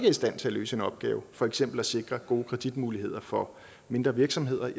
i stand til at løse en opgave for eksempel at sikre gode kreditmuligheder for mindre virksomheder